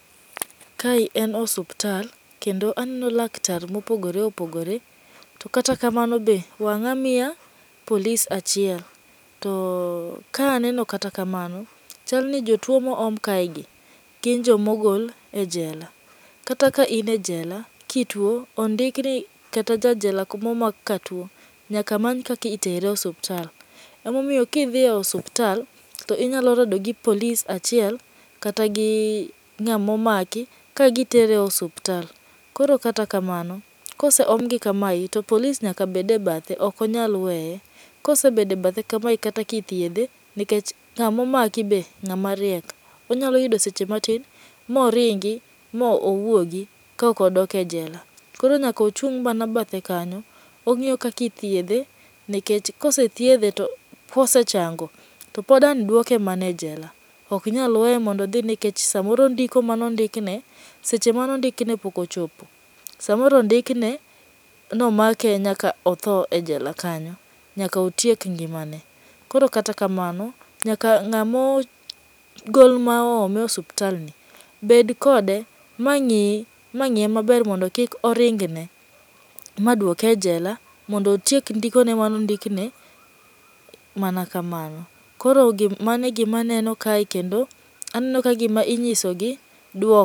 Kae en osiptal kendo aneno laktar mopogore opogore, to kata kamano be wang'a miya police achiel. To kaneno kata kamano chal ni jotuo ma oom kaegi gin joma ogol e jela kata in e jela, kituo ondikni ni kata jajela momakatuo nyaka many kaka itere osiptal. Emomiyo ka idhi e osiptal to inyalo rado gi police achiel kata gi ng'ama omaki kagitere osiptal. Koro kata kamano ka oseomgi kamae to policwe nyaka bed ebathe ok nyal weye. Kanosebet ebathe kamae kata ka ithiedhe, nikech kamomaki be ng'ama riek, onyalo yudo seche matin moringi mowuogi kaok odok e jela. Koro nyaka ochung' mana bathe kanyo, ong'iyo kaka ithiedhe nikech ka osethiedhe mosechango, to pod nyaka duoke mana ejela. Ok nyal weye nikech samoro ndiko mane ondikne seche mane ondikne pok ochopo,. Samoro ondikne ni omake nyaka otho ejela kanyo, nyaka otiek ngimane. Koro kata kamano nyaka ng'ama ogol ma oome osiptalni bed kode ma ng'i mang'iye maber mondo kik oringne maduoke ejela mondo otiek ndikone manondikne mana kamano. Koro mano e gima aneno kae kendo, aneno kagima inyiso gi duok